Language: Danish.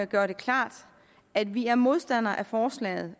gøre det klart at vi er modstandere af forslaget